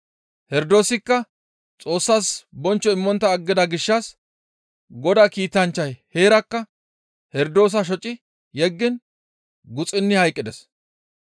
Herdoosikka Xoossas bonchcho immontta aggida gishshas Godaa kiitanchchay heerakka Herdoosa shoci yeggiin guxuni hayqqides.